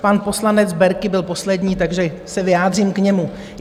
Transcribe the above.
pan poslanec Berki byl poslední, takže se vyjádřím k němu.